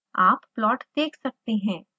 आप प्लॉट देख सकते हैं